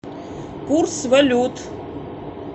курс валют